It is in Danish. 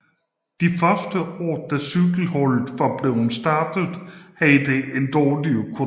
De første år da cykelholdet var blevet startet havde det en dårlig økonomi